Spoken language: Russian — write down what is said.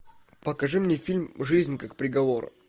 покажи мне фильм жизнь как приговор